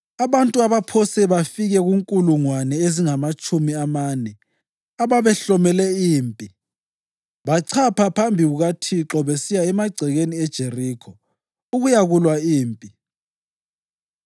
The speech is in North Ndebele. Abantu abaphose bafike kunkulungwane ezingamatshumi amane ababehlomele impi bachapha phambi kukaThixo besiya emagcekeni eJerikho ukuyakulwa impi.